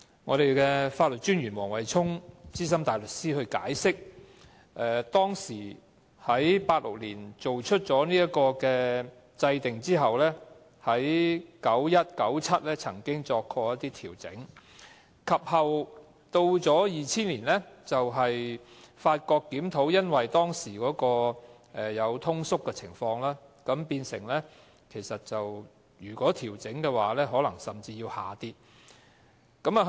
我剛才聽到法律政策專員黃惠沖資深大律師解釋，自從1986年制定條例後，在1991年和1997年曾經進行調整，及後在2000年檢討時，發覺當時出現通縮情況，如果要調整款額，金額水平甚至可能要下降。